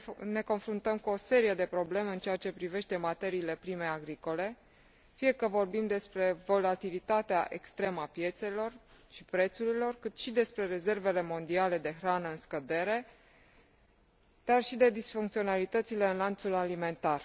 Ne confruntăm cu o serie de probleme în ceea ce privește materiile prime agricole, fie că vorbim despre volatilitatea extremă a piețelor și prețurilor, cât și despre rezervele mondiale de hrană în scădere, dar și de disfuncționalitățile în lanțul alimentar.